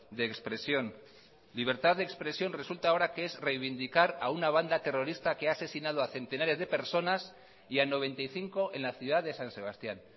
de expresión libertad de expresión resulta ahora que es reivindicar a una banda terrorista que ha asesinado a centenares de personas y a noventa y cinco en la ciudad de san sebastián